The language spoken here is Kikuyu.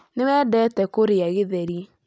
Nĩ wendete kũrĩa githeri